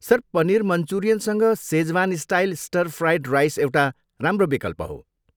Sir, paneer मन्चुरियनसँग Szechuan style stir fried rice एउटा राम्रो विकल्प हो।